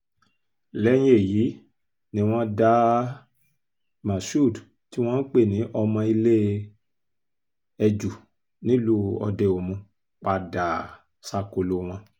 lẹ́yìn èyí ni wọ́n dá um moshood tí wọ́n pè ní ọmọ ilé-ẹjú nílùú òde-omu padà um sákòlò wọn